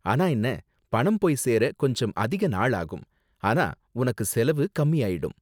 ஆனா என்ன, பணம் போய் சேர கொஞ்சம் அதிக நாளாகும், ஆனா உனக்கு செலவு கம்மியாயிடும்.